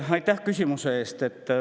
Aitäh küsimuse eest!